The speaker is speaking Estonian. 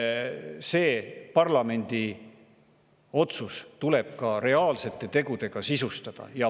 See parlamendi otsus tuleb ka reaalsete tegudega sisustada.